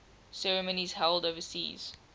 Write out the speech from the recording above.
ceremonies held overseas